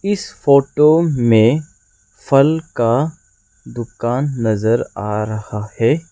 इस फोटो में फल का दुकान नजर आ रहा है।